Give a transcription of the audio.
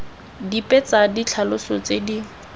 dipe tsa ditlhaloso tse di